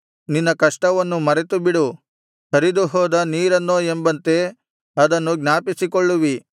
ನಿನ್ನ ಕಷ್ಟವನ್ನು ಮರೆತುಬಿಡುವಿ ಹರಿದುಹೋದ ನೀರನ್ನೋ ಎಂಬಂತೆ ಅದನ್ನು ಜ್ಞಾಪಿಸಿಕೊಳ್ಳುವಿ